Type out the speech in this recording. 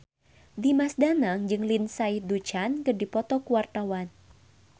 Dimas Danang jeung Lindsay Ducan keur dipoto ku wartawan